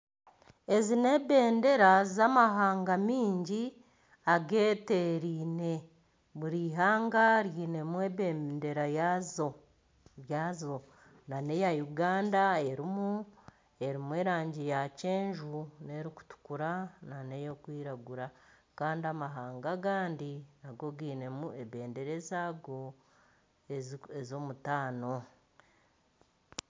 Ezi n'ebendera z'amahanga mingi ageteeraine buri ihanga riinemu ebendera yaaryo nana eya Uganda erimu erangi ya kyenju n'erikutukura n'ey'okwiragura kandi amahanga agandi nago gainemu ebendera ez'ago ez'omutaano